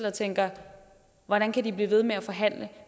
og tænker hvordan kan de blive ved med at forhandle